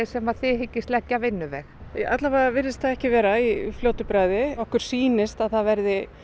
sem þið hyggist leggja alla vega virðist það ekki vera í fljótu bragði okkur sýnist að það verði